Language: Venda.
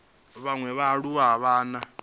vhaṅwe vhaaluwa a vha na